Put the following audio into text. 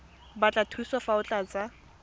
batla thuso fa o tlatsa